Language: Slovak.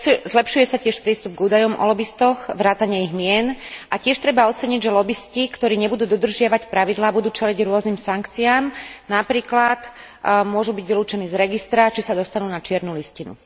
Zlepšuje sa tiež prístup k údajom o lobistoch vrátane ich mien a tiež treba oceniť, že lobisti, ktorí nebudú dodržiavať pravidlá, budú čeliť rôznym sankciám, napríklad môžu byť vylúčení z registra, čím sa dostanú na čiernu listinu.